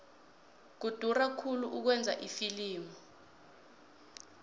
kudura khulu ukwenza ifilimu